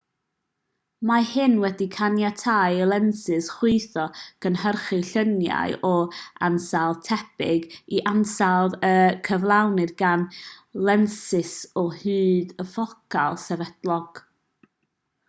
mae hyn wedi caniatáu i lensys chwyddo gynhyrchu llunia o ansawdd tebyg i'r ansawdd a gyflawnir gan lensys â hyd ffocal sefydlog